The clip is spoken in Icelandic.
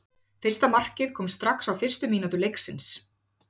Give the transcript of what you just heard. Fyrsta markið kom strax á fyrstu mínútu leiksins.